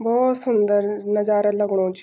भौत सुंदर नजारा लगुणु च।